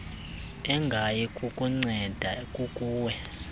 engayi kukunceda kukuwe